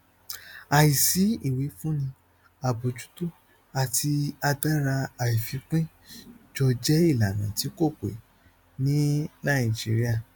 àìsí ìwífúnni àbójútó àti agbára àìfipín jọ jẹ ìlànà tí kò pé ní nàìjíríà